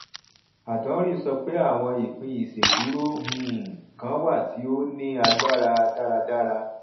adonri sọ pé àwọn ìpín ìṣedúró um kan wà tí ó ní agbára dáradára